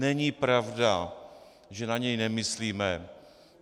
Není pravda, že na něj nemyslíme.